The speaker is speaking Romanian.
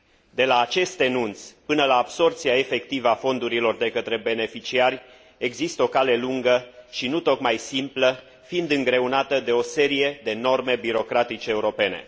De la acest enunț până la absorbția efectivă a fondurilor de către beneficiari există o cale lungă și nu tocmai simplă, fiind îngreunată de o serie de norme birocratice europene.